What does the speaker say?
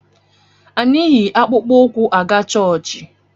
Anyị yi akpụkpụ ụkwụ aga chọọchị